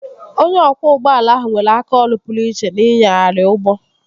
Onye ọkwọ ụgbọala ahụ nwere aka ọrụ pụrụ iche n'ịnyagharị ụgbọ